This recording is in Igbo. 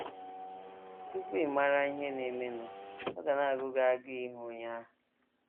Tupu ị mara ihe na - emenụ, ọ ga na - agụ gị agụụ ịhụ onye ahụ.